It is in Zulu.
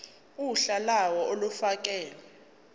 uhla lawo olufakelwe